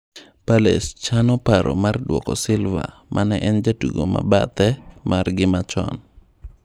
Palace chano paro mar duoko Silvamane en jatugo mabathe margi machon.